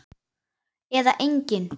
Eða engin?